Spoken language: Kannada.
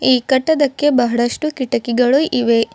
ಈ ಕಟ್ಟಡಕ್ಕೆ ಬಹಳಷ್ಟು ಕಿಟಕಿಗಳು ಇವೆ.